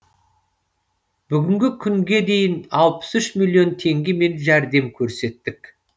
бүгінгі күнге дейін алпыс үш миллион теңгемен жәрдем көрсеттік